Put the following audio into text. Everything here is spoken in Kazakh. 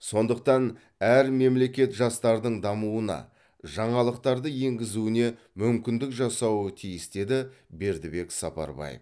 сондықтан әр мемлекет жастардың дамуына жаңалықтарды енгізуіне мүмкіндік жасауы тиіс деді бердібек сапарбаев